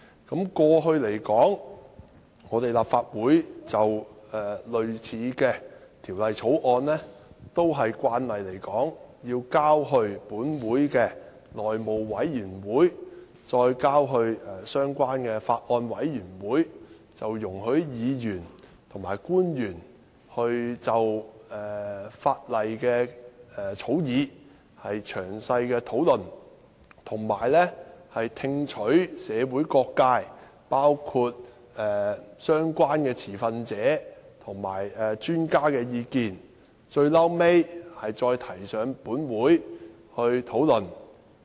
過去而言，立法會就類似的條例草案也慣常交付立法會內務委員會及相關的法案委員會，讓議員和官員就草擬的法例詳細討論，以及聽取社會各界，包括相關的持份者及專家的意見，最後再提交立法會辯論。